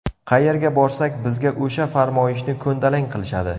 Qayerga borsak, bizga o‘sha farmoyishni ko‘ndalang qilishadi.